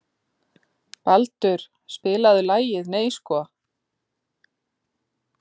Baldur, spilaðu lagið „Nei sko“.